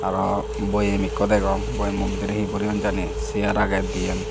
araw boyem ekko degong boyemmo bidire hi boreyon jani sear age diyen.